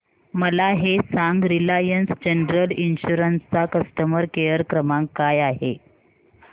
मला हे सांग रिलायन्स जनरल इन्शुरंस चा कस्टमर केअर क्रमांक काय आहे